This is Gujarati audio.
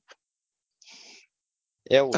એવું